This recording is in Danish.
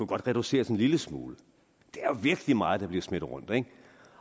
kunne reduceres en lille smule det er jo virkelig meget der bliver smidt rundt ikke